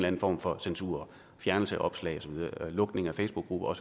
anden form for censur fjernelse af opslag lukning af facebookgrupper og